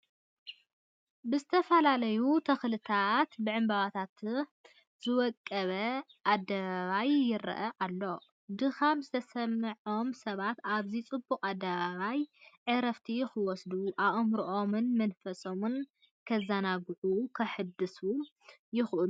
ብዝተፈላለዩ ተኽልታትን ብዕምበባታትን ዝወቀበ ኣደባባይ ይርአ ኣሎ፡፡ ድኻም ዝተሰምዖም ሰባት ኣብዚ ፅቡቕ ኣደባባይ ዕረፍቲ ክወስዱ፣ ኣእምሮኦምን መንፈሶም ከዘናግዑን ከሕድሱ ይኽእሉ፡፡